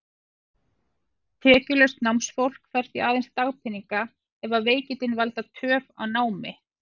Tekjulaust námsfólk fær því aðeins dagpeninga, að veikindin valdi töf á námi.